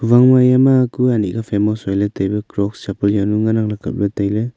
eya ma kue anyi kha famous hoi ley tai crocs chapal ngan ang kap ley tai ley.